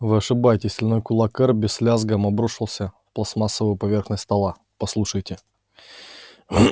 вы ошибаетесь стальной кулак эрби с лязгом обрушился пластмассовую поверхность стола послушайте